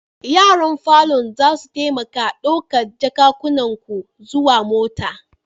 Yaran falon zasu taimaka ɗaukar jakunkunan ku zuwa mota.